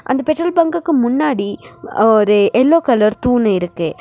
அந்த பெட்ரோல் பங்குக்கு முன்னாடி ஒரு யெல்லோ கலர் தூண் இருக்கு.